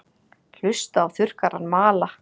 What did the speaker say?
Hlusta á þurrkarann mala.